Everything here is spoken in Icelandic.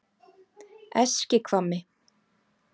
Eskihvammi